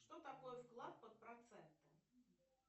что такое вклад под проценты